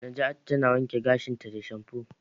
Naja'atu tana wanke gashinta da shamfu.